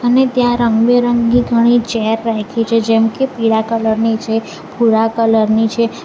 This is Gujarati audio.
અને ત્યાં રંગબેરંગી ઘણી ચેર રાખી છે જેમકે પીળા કલર ની છે ભૂરા કલર ની છે.